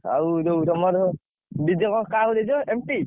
ଆଉ ଯୋଉ ତମର DJ ପାଇଁ କାହାକୁ ଦେଇଛ NT ?